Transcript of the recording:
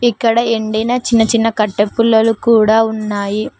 ఇక్కడ ఎండిన చిన్న చిన్న కట్టే పుల్లలు కూడా ఉన్నాయి.